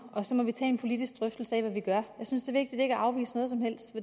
og så må vi tage en politisk drøftelse af hvad vi gør jeg synes vigtigt ikke at afvise noget som helst